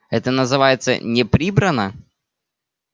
это называется не прибрано